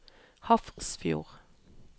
Hafrsfjord